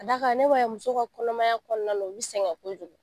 Ka d'a kan ne b'a ye musow ka kɔnɔmaya kɔnɔna u bɛ sɛgɛn kojugu